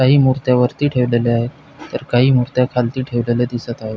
काही मुर्त्या वरती ठेवलेल्या आहेत तर काही मुर्त्या खालती ठेवलेल्या दिसत आहेत.